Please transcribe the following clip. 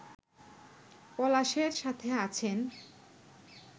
পলাশের সাথে আছেন